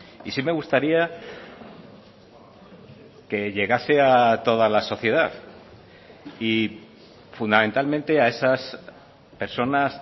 y sí me gustaría que llegase a toda la sociedad y fundamentalmente a esas personas